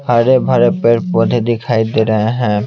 हरे भरे पेड़ पौधे दिखाई दे रहे हैं।